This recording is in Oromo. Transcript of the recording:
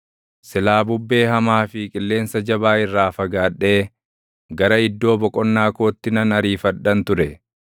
silaa bubbee hamaa fi qilleensa jabaa irraa fagaadhee gara iddoo boqonnaa kootti nan ariifadhan ture.”